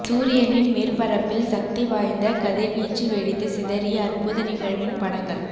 சூரியனின் மேற்பரப்பில் சக்தி வாய்ந்த கதிர்வீச்சு வெடித்து சிதறிய அற்புத நிகழ்வின் படங்கள்